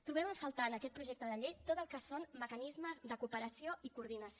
trobem a faltar en aquest projecte de llei tot el que són mecanismes de cooperació i coordinació